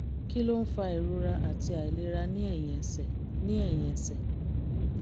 kí ló ń fa ìrora àti àìlera ní ẹ̀yìn ẹsẹ̀? ní ẹ̀yìn ẹsẹ̀?